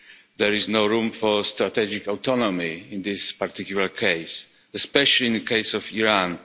There is no room for strategic autonomy in this particular case, especially in the case of Iran.